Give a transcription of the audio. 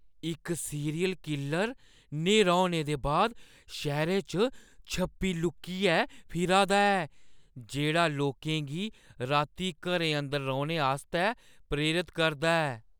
इक serial killer न्हेरा होने दे बाद शैह्‌रै च छप्पी-लुक्कियै फिरा दा ऐ जेह्ड़ा लोकें गी राती घरें अंदर रौह्‌ने आस्तै प्रेरत करदा ऐ ।